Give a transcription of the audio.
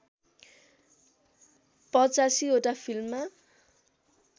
८५ वटा फिल्ममा